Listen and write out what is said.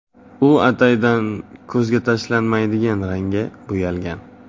U ataydan ko‘zga tashlanmaydigan rangga bo‘yalgan.